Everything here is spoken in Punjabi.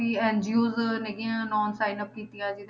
ਵੀ NGO ਹੈਗੀਆਂ sign up ਕੀਤੀਆਂ